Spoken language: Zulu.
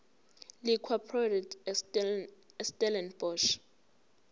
liquor products estellenbosch